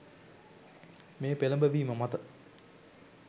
මේ පෙළඹවීම මත